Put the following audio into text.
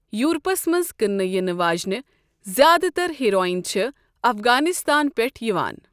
Europe's منز كٕننہٕ یِنہٕ واجینہِ زیادٕتر ہیرویِن چھے٘ افغٲنِستان پیٹھٕ یوان ۔